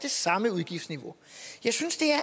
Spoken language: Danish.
samme udgiftsniveau jeg synes det er